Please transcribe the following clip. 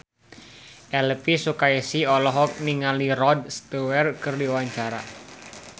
Elvi Sukaesih olohok ningali Rod Stewart keur diwawancara